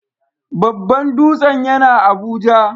Babban dutsen yana Abuja.